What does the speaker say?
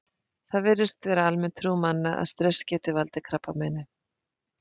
Það virðist vera almenn trú manna að stress geti valdið krabbameini.